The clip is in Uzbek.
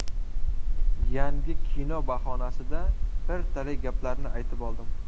Yangi kino bahonasida bir talay gaplarni aytib oldim.